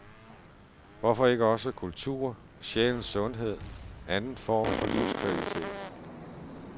Hvorfor ikke også kultur, sjælens sundhed, anden form for livskvalitet?